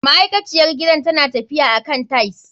Ma'aikaciyar gidan tana tafiya akan tiles.